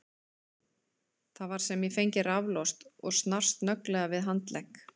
Það var sem ég fengi raflost og snart snögglega við handlegg